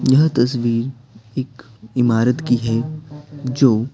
यह तस्वीरएक इमारत की है जो--